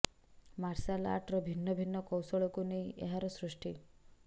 marshal ଆର୍ଟର ଭିନ୍ନ ଭିନ୍ନ କୌଶଳକୁ ନେଇ ଏହାର ସୃଷ୍ଟି